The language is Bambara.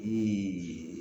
Eeee